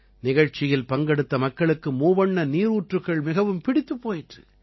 நிகழ்ச்சியில் பங்கெடுத்த மக்களுக்கு மூவண்ண நீரூற்றுக்கள் மிகவும் பிடித்துப் போயிற்று